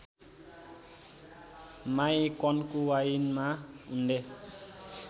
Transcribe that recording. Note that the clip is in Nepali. माई कन्कुवाइनमा उनले